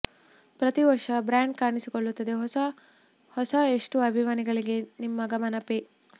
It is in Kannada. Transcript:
ಪ್ರತಿ ವರ್ಷ ಬ್ರ್ಯಾಂಡ್ ಕಾಣಿಸಿಕೊಳ್ಳುತ್ತದೆ ಹೊಸ ಎಷ್ಟು ಅಭಿಮಾನಿಗಳಿಗೆ ನಿಮ್ಮ ಗಮನ ಪೇ